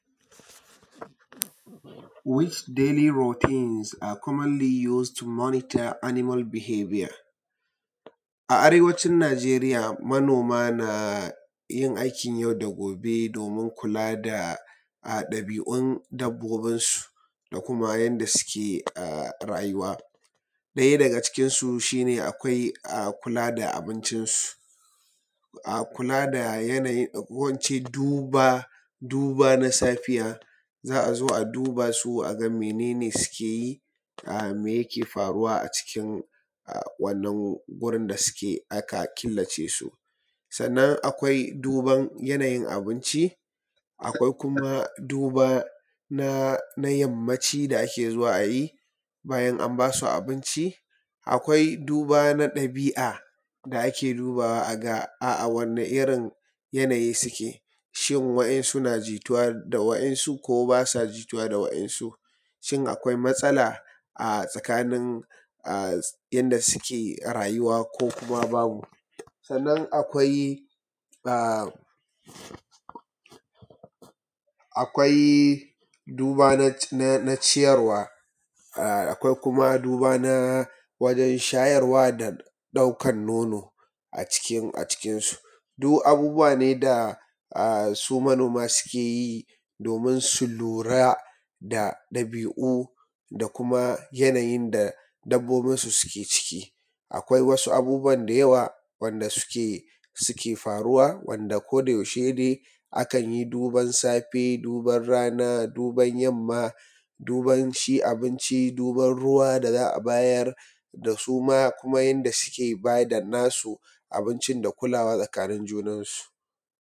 Which daily rottens are commonly use to monitor animals behavior? A arewacin Najeriya manoma na yin aikin yau da gobe domin kula da ɗabi'un dabobinsu da kuma yanda suke rayuwa. Ɗaya daga cikinsu shi ne akwai kula da abincinsu, ko in ce duba na safiya, za a zo a duba su a ga mene ne suke yi? Me yake faruwa a cikin wannan gurin da suke aka kilace su? Sannan akwai duban yanayin abinci, akwai kuma duba na yammaci da ake zuwa a yi bayan an ba su abinci, akwai duba na ɗabi'a da ake dubawa a ga a wane irin yanayin suke? Shin wa'insu na jituwa da wa'insu ko ba sa jituwa da wa'insu? Shin akwai matsala a tsakanin inda suke rayuwa ko babu, sannan akwai duba na ciyarwa, akwai duba na wajan shayarwa da ɗaukan nono a cikin su. Duk abubuwa ne da su manoma suke yi domin su lura da ɗabi'u da kuma yanayin da dabobinsu suke ciki. Akwai wasu abubuwa da yawa wanda suke faruwa wanda ko da yaushe ne akan yi duban safe, duban rana, duban ymnma, duban ci abinci, duban ruwa da za a bayar, da suma kuma yanda suke ba da nasu abincin, da kulawa tsakanin junansu.